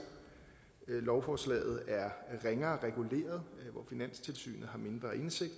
lovforslaget er ringere reguleret og hvor finanstilsynet har mindre indsigt